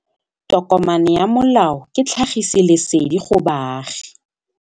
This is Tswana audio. Tokomane ya molao ke tlhagisi lesedi go baagi.